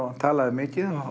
hann talaði mikið